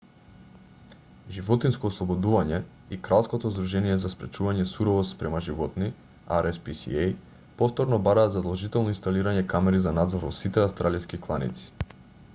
животинско ослободување и кралското здружение за спречување суровост спрема животни rspca повторно бараат задолжително инсталирање камери за надзор во сите австралиски кланици